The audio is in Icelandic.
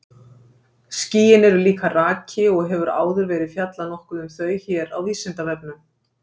Skýin eru líka raki og hefur áður verið fjallað nokkuð um þau hér á Vísindavefnum.